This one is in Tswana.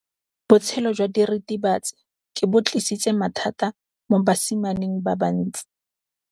Botshelo jwa diritibatsi ke bo tlisitse mathata mo basimaneng ba bantsi.